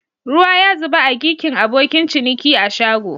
Ruwa ya zuba a gikin abokin ciniki a shago.